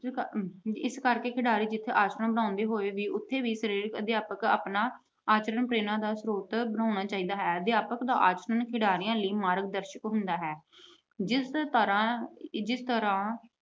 ਇਸ ਕਰਕੇ ਖਿਡਾਰੀ ਬਣਾਉਂਦੇ ਹੋਏ, ਉਥੇ ਵੀ ਸਰੀਰਕ ਅਧਿਆਪਕ ਆਪਣਾ ਆਚਰਣ ਪ੍ਰੇਰਨਾ ਦਾ ਸਰੋਤ ਬਣਾਉਣਾ ਚਾਹੀਦਾ ਹੈ। ਅਧਿਆਪਕ ਦਾ ਆਚਰਣ ਖਿਡਾਰੀਆਂ ਲਈ ਮਾਰਗ ਦਰਸ਼ਨ ਹੁੰਦਾ ਹੈ। ਜਿਸ ਤਰ੍ਹਾਂ ਅਹ ਜਿਸ ਤਰ੍ਹਾਂ